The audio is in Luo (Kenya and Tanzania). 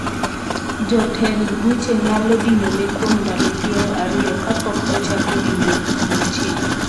jotend buche nyalo dinone kuom ndalo piero ariyo kapok ochak winjo buche